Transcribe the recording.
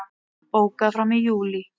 Bókað fram í júlí